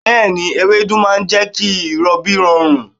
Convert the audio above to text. Bẹ́ẹ̀ni, ewédú ma jẹ́ kí ìrọbí rọrùn.